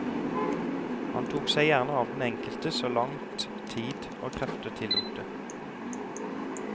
Han tok seg gjerne av den enkelte så langt tid og krefter tillot det.